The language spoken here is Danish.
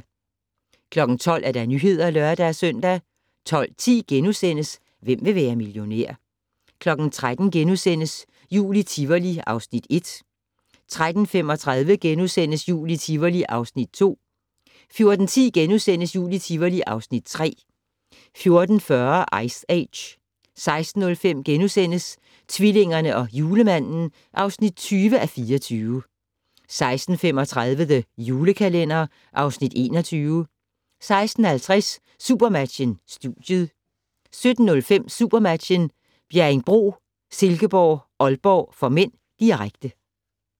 12:00: Nyhederne (lør-søn) 12:10: Hvem vil være millionær? * 13:00: Jul i Tivoli (Afs. 1)* 13:35: Jul i Tivoli (Afs. 2)* 14:10: Jul i Tivoli (Afs. 3)* 14:40: Ice Age 16:05: Tvillingerne og Julemanden (20:24)* 16:35: The Julekalender (Afs. 21) 16:50: Supermatchen: Studiet 17:05: SuperMatchen: Bjerringbro-Silkeborg - Aalborg (m), direkte